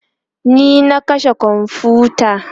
ni na kashe komfuta